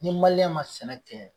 Ni ma sɛnɛ tɛ